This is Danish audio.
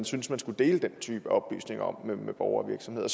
synes man skal dele den type oplysninger om borgere og virksomheder